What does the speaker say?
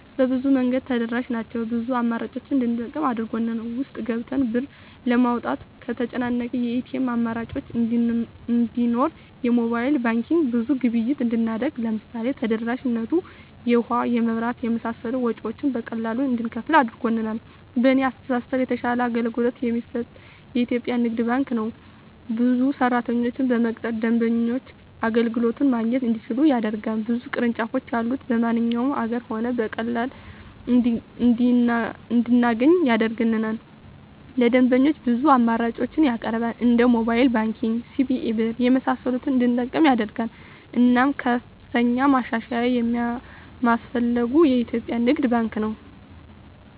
በብዙ መንገድ ተደራሽ ናቸው ብዙ አማራጮችን እንድንጠቀም አድርጎል። ውስጥ ገብተን ብር ለማውጣት ከተጨናነቀ የኤቲኤም አማራጮች እንዲኖር የሞባይል ባንኪንግ ብዙ ግብይት እንድናደርግ ለምሳሌ ተደራሽነቱ የውሀ, የመብራት የመሳሰሉ ወጭወችን በቀላሉ እንድንከፍል አድርጓል። በእኔ አስተሳሰብ የተሻለ አገልግሎት የሚሰጥ የኢትዪጵያ ንግድ ባንክ ነው። ብዙ ሰራተኞችን በመቅጠር ደንበኞች አገልግሎት ማግኘት እንዲችሉ ያደርጋል። ብዙ ቅርንጫፎች ያሉት በማንኛውም አገር ሆነን በቀላሉ እንድናገኝ ያደርጋል። ለደንበኞች ብዙ አማራጮችን ያቀርባል እንደ ሞባይል ባንኪንግ, ሲቢኢ ብር , የመሳሰሉትን እንድንጠቀም ያደርጋል። እናም ከፍተኛ ማሻሻያ የማስፈልገው የኢትዮጵያ ንግድ ባንክ ነው።